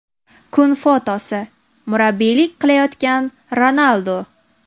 Kun fotosi: Murabbiylik qilayotgan Ronaldu.